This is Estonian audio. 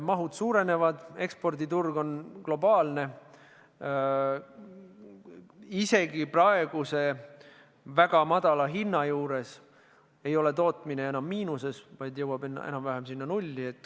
Mahud suurenevad, eksporditurg on globaalne, isegi praeguse väga madala hinna juures ei ole tootmine enam miinuses, vaid jõudnud enam-vähem nulli.